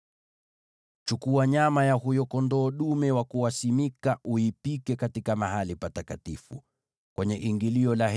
“Chukua nyama ya huyo kondoo dume wa kuwaweka wakfu uipike katika Mahali Patakatifu.